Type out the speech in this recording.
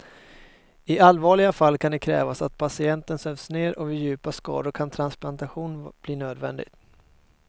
I allvarliga fall kan det krävas att patienten sövs ner och vid djupa skador kan transplantation bli nödvändig.